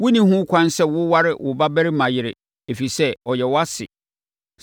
“ ‘Wonni ho ɛkwan sɛ woware wo babarima yere, ɛfiri sɛ, ɔyɛ wʼase.